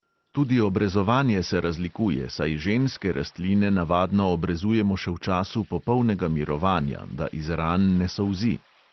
Tudi obrezovanje se razlikuje, saj ženske rastline navadno obrezujemo še v času popolnega mirovanja, da iz ran ne solzi.